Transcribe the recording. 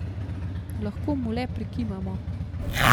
Lahko mu le prikimamo!